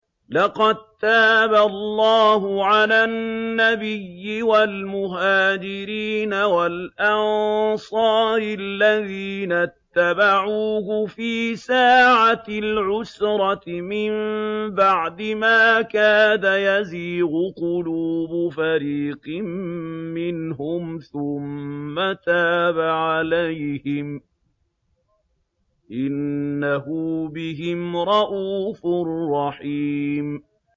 لَّقَد تَّابَ اللَّهُ عَلَى النَّبِيِّ وَالْمُهَاجِرِينَ وَالْأَنصَارِ الَّذِينَ اتَّبَعُوهُ فِي سَاعَةِ الْعُسْرَةِ مِن بَعْدِ مَا كَادَ يَزِيغُ قُلُوبُ فَرِيقٍ مِّنْهُمْ ثُمَّ تَابَ عَلَيْهِمْ ۚ إِنَّهُ بِهِمْ رَءُوفٌ رَّحِيمٌ